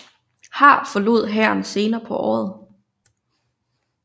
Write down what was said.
Har forlod hæren senere på året